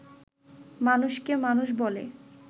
মানুষকে মানুষ বলে